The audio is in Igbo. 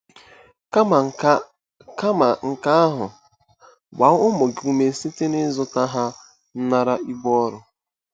Kama nke Kama nke ahụ, gbaa ụmụ gị ume site n'ịzụ ha ịnara ibu ọrụ.